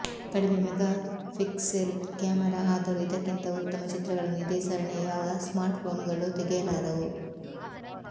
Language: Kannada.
ಕಡಿಮೆ ಮೆಗಾಪಿಕ್ಸೆಲ್ ಕ್ಯಾಮೆರಾ ಆದರೂ ಇದಕ್ಕಿಂತ ಉತ್ತಮ ಚಿತ್ರಗಳನ್ನು ಇದೇ ಸರಣಿಯ ಯಾವ ಸ್ಮಾರ್ಟ್ಫೋನ್ಗಳು ತೆಗೆಯಲಾರವು